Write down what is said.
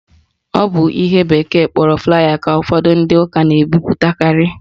Ọ bụ ihe bekee kpọrọ flier ka ụfọdụ ndị ụka na-ebipụtakarị